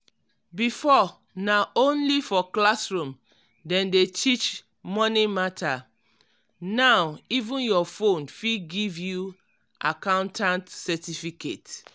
before na only for classroom dem dey teach money matter now even your phone fit give you accountant certificate.